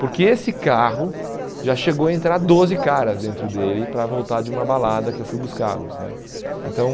Porque esse carro já chegou a entrar doze caras dentro dele para voltar de uma balada que eu fui buscá-los né. Então